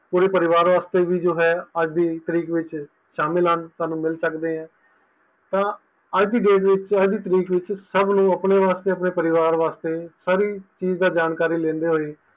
ਪੂਰੇ ਪਰਿਵਾਰ ਵਾਸਤੇ ਵੀ ਜੋ ਹੈ ਜੋ ਅੱਜ ਦੀ ਤਰੀਕ ਵਿੱਚ ਸ਼ਾਮਿਲ ਹਨ ਸਾਨੂ ਮਿਲ ਸਕਦੇ ਆ ਤਾ ਅੱਜ ਦੀ date ਵਿੱਚ ਅੱਜ ਦੀ ਤਰੀਕ ਵਿੱਚ ਸਭ ਨੂੰ ਆਪਣੇ ਵਾਸਤੇ ਆਪਣੇ ਪਰਿਵਾਰ ਵਾਸਤੇ ਸਾਰੀ ਚੀਜ਼ ਦੀ ਜਾਣਕਾਰੀ ਲੈਂਦੇ ਹੋਏ